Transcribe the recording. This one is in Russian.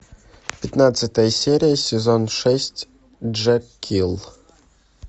пятнадцатая серия сезон шесть джекилл